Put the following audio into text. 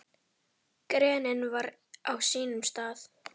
Greinin var á sínum stað.